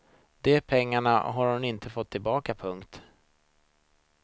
De pengarna har hon inte fått tillbaka. punkt